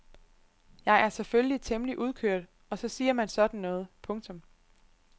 Jeg er selvfølgelig temmelig udkørt og så siger man sådan noget. punktum